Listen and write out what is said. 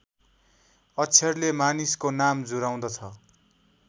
अक्षरले मानिसको नाम जुराउँदछ